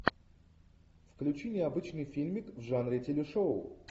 включи необычный фильмик в жанре телешоу